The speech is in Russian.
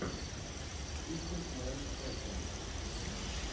тичинг менс фэшэн